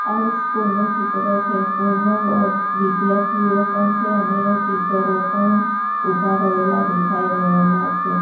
આ એક સ્કૂલ નું ચિત્ર છે સ્કૂલ માં વિધાર્થીઓ પણ છે અને ટીચરો પણ ઊભા રહેલા દેખાઈ રહેલા છે.